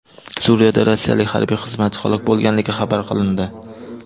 Suriyada rossiyalik harbiy xizmatchi halok bo‘lganligi xabar qilindi.